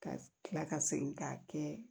Ka kila ka segin k'a kɛ